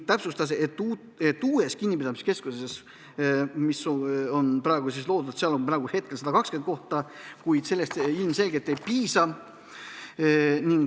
Täpstati, et uues kinnipidamiskeskuses on praegu 120 kohta, kuid sellest ilmselgelt ei piisa.